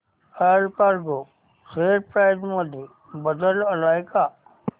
Allcargo share price मध्ये बदल आलाय का